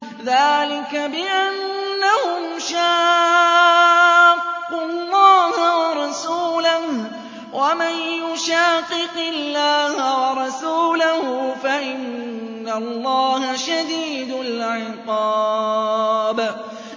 ذَٰلِكَ بِأَنَّهُمْ شَاقُّوا اللَّهَ وَرَسُولَهُ ۚ وَمَن يُشَاقِقِ اللَّهَ وَرَسُولَهُ فَإِنَّ اللَّهَ شَدِيدُ الْعِقَابِ